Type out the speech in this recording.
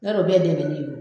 N' o de do bɛ dɛmɛn ne do.